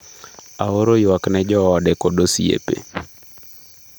""Aoro ywak ne joode kod osiepe."""